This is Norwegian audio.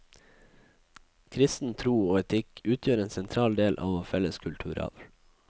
Kristen tro og etikk utgjør en sentral del av vår felles kulturarv.